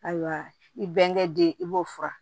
Ayiwa i bɛnkɛ den i b'o fura